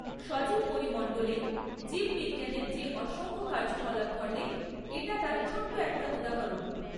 সজীব পরিমণ্ডলে জীববিজ্ঞানের যে অসংখ্য কার্যকলাপ ঘটে, এটা তার ছোট্ট একটা উদাহরণ।